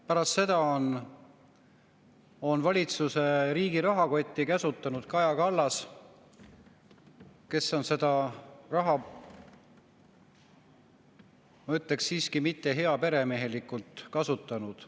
Pärast seda on valitsuses riigi rahakotti käsutanud Kaja Kallas, kes ei ole siiski seda raha, ma ütleksin, heaperemehelikult kasutanud.